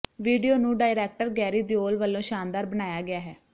video ਨੂੰ director Garry Deol ਵੱਲੋਂ ਸ਼ਾਨਦਾਰ ਬਣਾਇਆ ਗਿਆ ਹੈ